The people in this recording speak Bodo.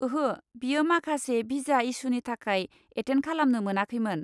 ओहो, बियो माखासे भिजा इसुनि थाखाय एटेन्ड खालामनो मोनाखैमोन।